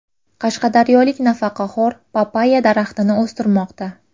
Qashqadaryolik nafaqaxo‘r papayya daraxtini o‘stirmoqda.